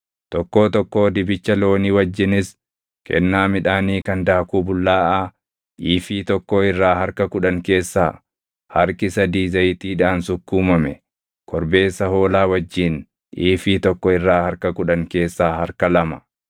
Tokkoo tokkoo dibicha loonii wajjinis kennaa midhaanii kan daakuu bullaaʼaa iifii tokkoo irraa harka kudhan keessaa harki sadii zayitiidhaan sukkuumame, korbeessa hoolaa wajjin iifii tokko irraa harka kudhan keessaa harka lama,